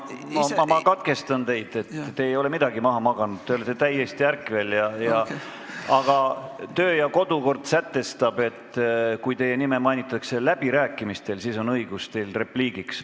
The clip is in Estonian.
Ei, ma katkestan teid: te ei ole midagi maha maganud, te olete täiesti ärkvel, aga kodu- ja töökord sätestab, et kui teie nime mainitakse läbirääkimistel, siis on teil õigus repliigiks.